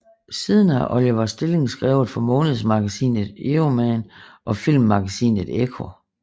Siden har Oliver Stilling skrevet for månedsmagasinet Euroman og Filmmagasinet Ekko